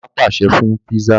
Bàbá pàṣẹ fún pizza.